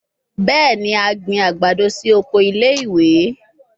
Bẹẹni, a gbin agbado si oko ile-iwe